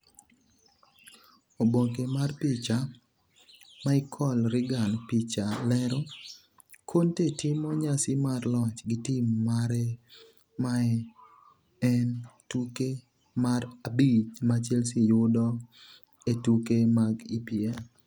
Oboke mar picha, Michael Regan Picha lero, Conte timo nyasi mar loch gi tim mare Mae en tuke mar abich ma Chelsea yudo e tuke mag EPL.